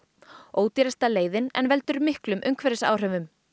ódýrasta leiðin en veldur miklum umhverfisáhrifum